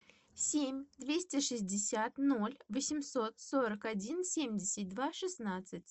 семь двести шестьдесят ноль восемьсот сорок один семьдесят два шестнадцать